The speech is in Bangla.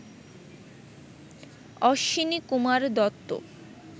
অশ্বিনীকুমার দত্ত